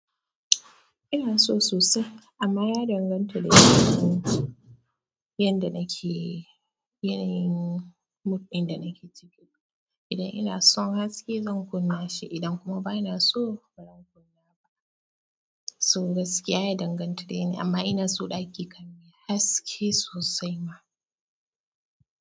Inaso sosai amma ya danganta da yanda nake, yanayin mood ɗin da nake ciki. Idan ina son haske zan kunna shi idan kuma bana so, bazan kunna ba. So gaskiya ya danganta yanayi amman inaso ɗaki kam haske sosai ma.